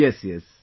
yes, yes